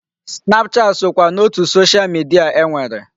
Snapchat sokwa n'otu Social media e nwere.